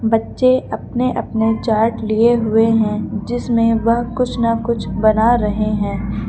बच्चे अपने अपने चार्ट लिए हुए हैं जिसमें वह कुछ न कुछ बना रहे हैं।